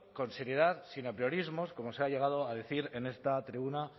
con seriedad sin apriorismos como se ha llegado a decir en esta tribuna